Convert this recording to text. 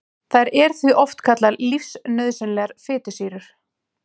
Þær eru því oft kallaðar lífsnauðsynlegar fitusýrur.